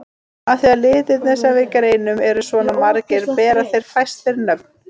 Af því að litirnir sem við greinum eru svona margir bera þeir fæstir nöfn.